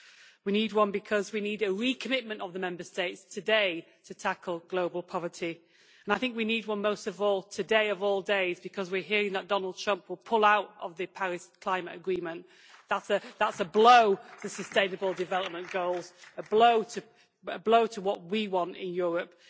We need one because we need a recommitment by the Member States today to tackle global poverty, and I think we need one most of all, today of all days, because we are hearing that Donald Trump will pull out of the Paris Agreement on climate change. That is a blow to sustainable development goals, a blow to what we want in Europe.